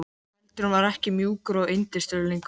Feldurinn var ekki mjúkur og yndislegur lengur.